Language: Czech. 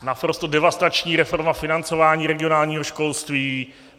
Naprosto devastační reforma financování regionálního školství.